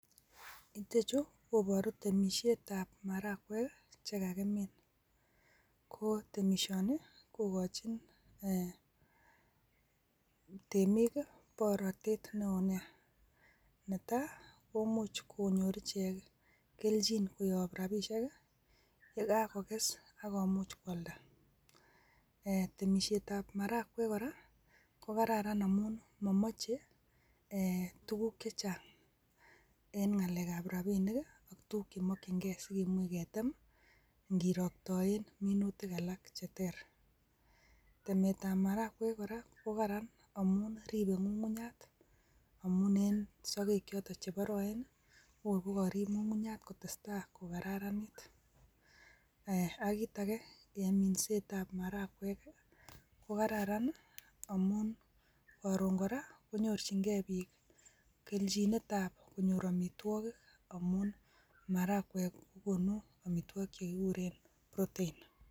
Ichechu kobooru temisietab maharagwek, chakimin ako temisioni kokochin, e timik borotet newoo nia. Netai komuch konyoor ichek kelchin koyoob rabisiek ye kakoges akomuch koaldaa. Temisietab maharagwek kora ko kararan amun momoche tuguk chechang en ngalekab rabinik. Ak tuguuk chekimokyingei sikimuch ketem ingoroktoen minuutik alak cheter. Temetab maragwek kora ko kararan amun ribe ngungunyat amun en sogeek chotok cheboroen I.kokorib ngungunyat kotestai kokararanit, Ak kitage en minsetab maragwek I,kokoraran amun koron kora konyorchingei biik kelchinet ab amitwogiik. Maharagwek kokonuu amitwogiik che kikuren protein.